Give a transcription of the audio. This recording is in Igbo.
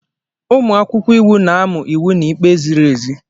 Ụmụ akwụkwọ iwu na-amụ iwu na ikpe ziri ezi